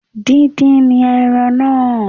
Díndín ni ẹran náà